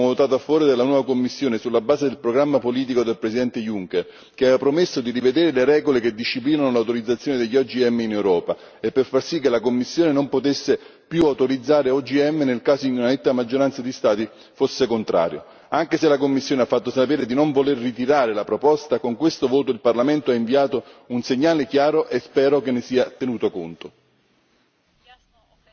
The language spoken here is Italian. Vorrei ricordare che l'anno scorso abbiamo votato a favore della nuova Commissione sulla base del programma politico del Presidente Juncker, che aveva promesso di rivedere le regole che disciplinano l'autorizzazione degli OGM in Europa per far sì che la Commissione non potesse più autorizzare OGM nel caso di una netta maggioranza di Stati fosse contrario. Anche se la Commissione ha fatto sapere di non voler ritirare la proposta, con questo voto il Parlamento ha inviato un segnale chiaro, e spero che ne sarà tenuto conto.